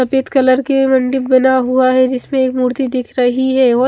सफ़ेद कलर की मंदिर बना हुआ है जिसमें एक मूर्ती दिख रही है और--